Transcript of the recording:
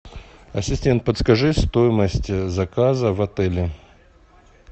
ассистент подскажи стоимость заказа в отеле